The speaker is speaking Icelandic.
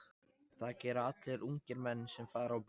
Það gera allir ungir menn sem fara á böll.